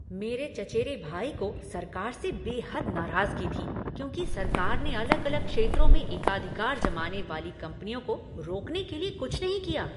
मेरे चचेरे भाई को सरकार से बेहद नाराजगी थी क्योंकि सरकार ने अलग अलग क्षेत्रों में एकाधिकार जमाने वाली कंपनियों को रोकने के लिए कुछ नहीं किया।